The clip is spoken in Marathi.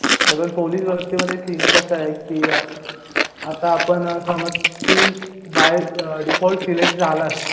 आजून पोलीस भरतीमध्ये सिन कसाये कि अ आता आपण समज तू बाय डिफॉल्ट सिलेक्ट झालाच